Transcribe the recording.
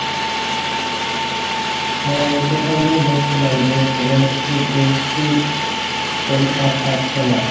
হ্যাঁ ওইটা তো আমিও দেখসিলাম যে তোমার হচ্ছে JAC পরীক্ষা আর থাকসে না?